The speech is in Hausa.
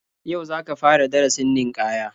Yau za ka fara darasin ninkaya